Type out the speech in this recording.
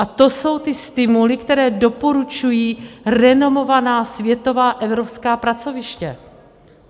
A to jsou ty stimuly, které doporučují renomovaná světová evropská pracoviště.